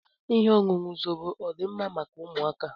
Ihe ọṅụṅụ Zobo ọdi mma maka ụmụaka?